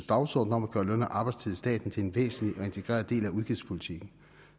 dagsorden om at gøre løn og arbejdstid i staten til en væsentlig og integreret del af udgiftspolitikken